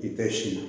I tɛ si ma